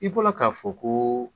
I bɔla ka fɔ ko